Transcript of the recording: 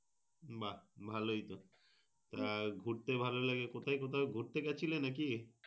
বাহ ভালোই তো। আহ ঘুরতে ভালো লাগে কোথায় কোথাও ঘুরতে গেছিলে নাকি?